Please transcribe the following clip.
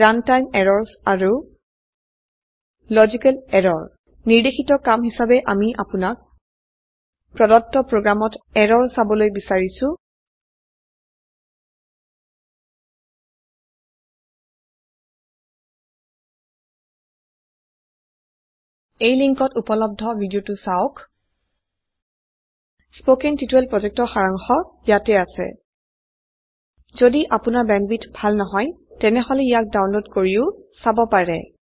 runtime errorsআৰু logical errors নিৰ্দেশিত কাম হিসাবে আমি আপোনাক প্ৰদত্ত প্ৰোগ্ৰামত এৰৰ চাবলৈ বিচাৰিছো এই লিন্কত উপলব্ধ ভিদিওটো চাওক কথন শিক্ষণ প্ৰকল্পৰ সাৰাংশ ইয়াত আছে যদি আপোনাৰ বেন্দৱিথ ভাল নহয় তেনেহলে ইয়াক ডাউনলোড কৰিও চাব পাৰে